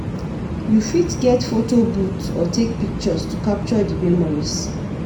You fit get photo booth or take pictures to capture di memories.